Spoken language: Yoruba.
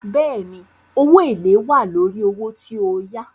Bẹ́ẹ̀ni, owó èlèé wà lórí owó tí o yá.